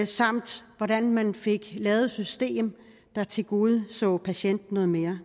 samt hvordan man fik lavet et system der tilgodeså patienten noget mere